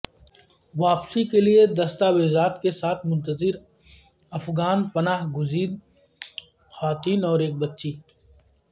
واپسی کے لیے دستاویزات کی منتظر افغان پناہ گزین خواتین اور ایک بچی